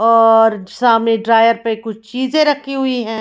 और सामने ड्रायर पर कुछ चीजें रखी हुई है।